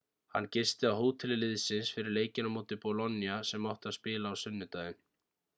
hann gisti á hóteli liðsins fyrir leikinn á móti bolonia sem átti að spila á sunnudeginum